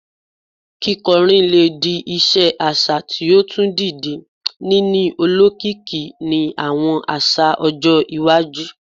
Kikọrin le di iṣe aṣa ti o tun dide, nini olokiki ni awọn aṣa-ọjọ iwaju